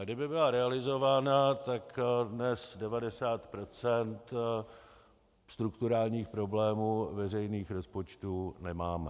A kdyby byla realizována, tak dnes 90 % strukturálních problémů veřejných rozpočtů nemáme.